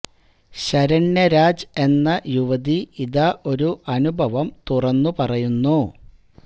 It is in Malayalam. ശരണ്യ രാജ് എന്ന യുവതി ഇതാ ഒരു അനുഭവം തുറന്നു പറയുന്നു